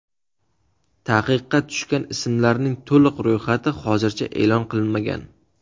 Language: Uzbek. Taqiqqa tushgan ismlarning to‘liq ro‘yxati hozircha e’lon qilinmagan.